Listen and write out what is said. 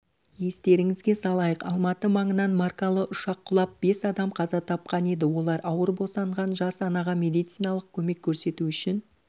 естеріңізге салайық алматы маңындаан маркалы ұшақ құлап бес адам қаза тапқан еді олар ауыр босанған жас анаға медициналық көмек көрсету үшін